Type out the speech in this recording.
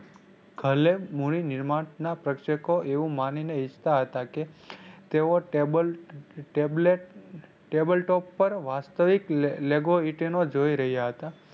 ભલે ના પ્રેક્ષકો એવું માની ને ઇચ્છતા હતા કે તેઓ ટેબલ tablet table talk પર વાસ્તવિક જોઈ રહ્યા હતા.